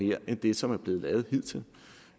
mere end det som er blevet lavet hidtil